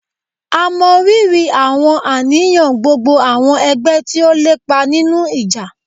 À mọ riri àwọn àníyàn gbogbo àwọn ẹgbẹ tí ó lépa nínú ìjà.